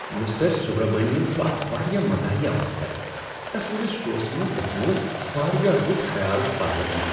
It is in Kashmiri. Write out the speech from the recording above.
مسٹر سُبرامنیم چُھ اکھ واریاہ مذاحیہ مسخرٕ ۔ تسندس شوہس منٛز گژھُن اوس واریاہ رُت خیال، پاروتھی ۔